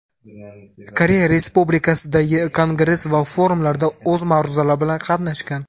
Koreya Respublikasidagi kongress va forumlarda o‘z ma’ruzalari bilan qatnashgan.